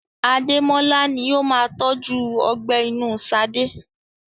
Ademola ni ó máa tọju ọgbẹ́ inú Sade.